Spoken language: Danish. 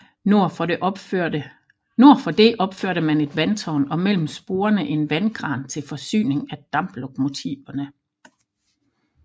Nord for det opførte man et vandtårn og mellem sporene en vandkran til forsyning af damplokomotiverne